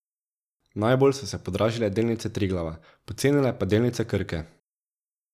Najbolj so se podražile delnice Triglava, pocenile pa delnice Krke.